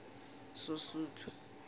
sosuthu